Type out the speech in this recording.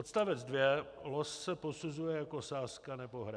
Odst. 2, Los se posuzuje jako sázka nebo hra.